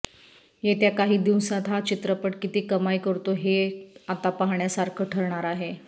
येत्या काही दिवसांत हा चित्रपट किती कमाई करतो हे आता पाहण्यासारखं ठरणार आहे